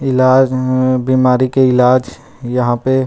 इलाज मम बीमारी के इलाज यहाँ पै--